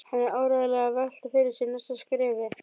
Hann er áreiðanlega að velta fyrir sér næsta skrefi.